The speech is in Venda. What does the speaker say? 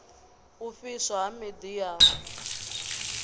u fhiswa ha miḓi ya